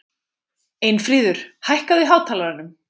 Einfríður, hækkaðu í hátalaranum.